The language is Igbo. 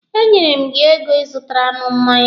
E nyere m gị ego ị zụtara m mmanya.